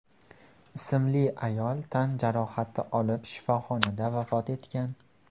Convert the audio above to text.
ismli ayol tan jarohati olib, shifoxonada vafot etgan.